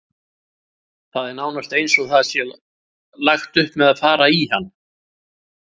Það er nánast eins og það sé lagt upp með að fara í hann.